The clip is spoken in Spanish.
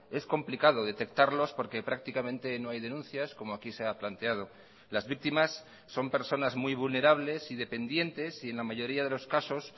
es complicado detectarlos porque prácticamente no hay denuncias como aquí se ha planteado las víctimas son personas muy vulnerables y dependientes y en la mayoría de los casos